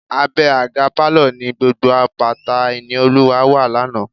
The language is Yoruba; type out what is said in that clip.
Abẹ́ àga pálọ̀ ni gbogbo bàtà Ìníolúwa wà lánàá.